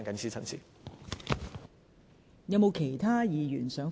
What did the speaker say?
是否有其他議員想發言？